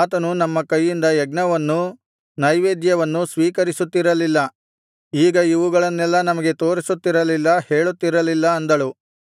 ಆತನು ನಮ್ಮ ಕೈಯಿಂದ ಯಜ್ಞವನ್ನೂ ನೈವೇದ್ಯವನ್ನೂ ಸ್ವೀಕರಿಸುತ್ತಿರಲಿಲ್ಲ ಈಗ ಇವುಗಳನ್ನೆಲ್ಲಾ ನಮಗೆ ತೋರಿಸುತ್ತಿರಲಿಲ್ಲ ಹೇಳುತ್ತಿರಲಿಲ್ಲ ಅಂದಳು